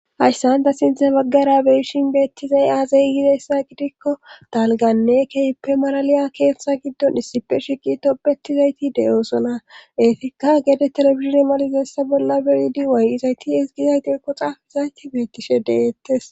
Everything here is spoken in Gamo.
Hayssanda sinthe baggara beyishin beettizay aazay yizessa gidikko dalganne keyippe maraliya keeththa giddon issipe shiqi tobetizayti de7oosona eefikka gede telefizine malizessa bolla beyidi waayizayti esgizaytekko xaafizayti beettishe deettes.